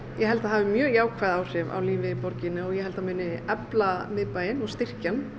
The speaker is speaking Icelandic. ég held að það hafi mjög jákvæð áhrif á lífið í borginni ég held að það muni efla miðbæinn og styrkja hann